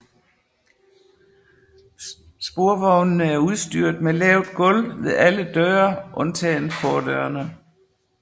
Sporvognene er udstyret med lavt gulv ved alle døre undtagen fordørene